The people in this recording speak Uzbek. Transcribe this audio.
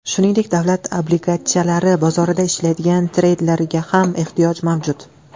Shuningdek, davlat obligatsiyalari bozorida ishlaydigan treyderlarga ham ehtiyoj mavjud.